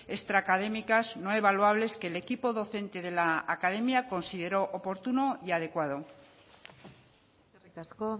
extra académicas no evaluables que el equipo docente de la academia consideró oportuno y adecuado eskerrik asko